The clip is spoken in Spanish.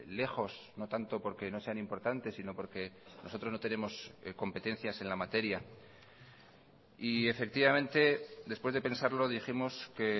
lejos no tanto porque no sean importantes sino porque nosotros no tenemos competencias en la materia y efectivamente después de pensarlo dijimos que